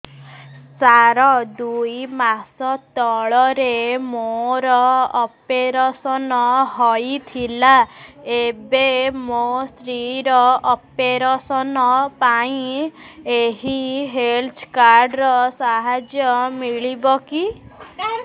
ସାର ଦୁଇ ମାସ ତଳରେ ମୋର ଅପେରସନ ହୈ ଥିଲା ଏବେ ମୋ ସ୍ତ୍ରୀ ର ଅପେରସନ ପାଇଁ ଏହି ହେଲ୍ଥ କାର୍ଡ ର ସାହାଯ୍ୟ ମିଳିବ କି